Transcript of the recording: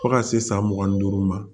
Fo ka se san mugan ni duuru ma